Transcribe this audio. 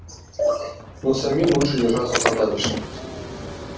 но самим лучше держаться подальше